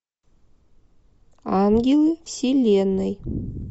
ангелы вселенной